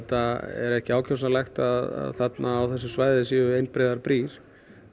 er ekki ákjósanlegt að þarna á þessu svæði séu einbreiðar brýr